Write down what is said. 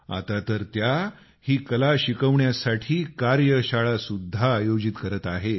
आता तर त्या ही कला शिकवण्यासाठी कार्यशाळा सुद्धा आयोजित करत आहेत